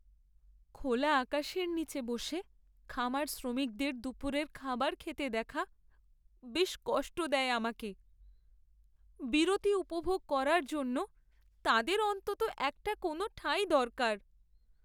খোলা আকাশের নীচে বসে খামার শ্রমিকদের দুপুরের খাবার খেতে দেখা বেশ কষ্ট দেয় আমাকে। বিরতি উপভোগ করার জন্য তাদের অন্তত একটা কোনও ঠাঁই দরকার।